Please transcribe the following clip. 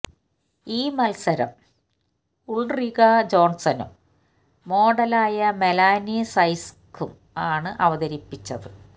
ഈ മത്സരം ഉൾറിക ജോൺസണും മോഡലായ മെലാനി സൈക്സും ആണ് അവതരിപ്പിച്ചത്